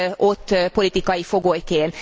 ott politikai fogolyként.